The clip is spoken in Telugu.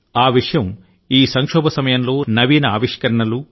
ఆ విషయం ఈ సంక్షోభ సమయంలో నవీన ఆవిష్కరణలు